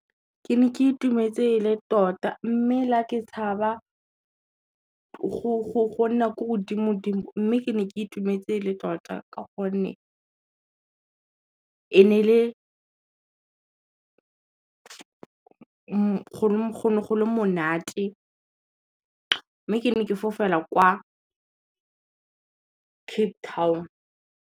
Ke ne ke itumetse e le tota mme la ke tshaba, go nna ko godimo dimo mme ke ne ke itumetse e le tota ka gonne, go ne go le monate mme ke ne ke fofela kwa Cape Town.